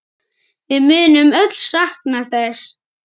Við munum öll sakna þess.